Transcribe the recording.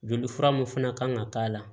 Joli fura mun fana kan ka k'a la